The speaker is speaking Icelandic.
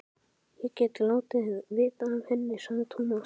Ég get látið vita af henni, sagði Tómas.